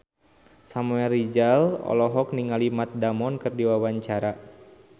Samuel Rizal olohok ningali Matt Damon keur diwawancara